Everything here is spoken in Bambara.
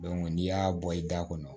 n'i y'a bɔ i da kɔnɔ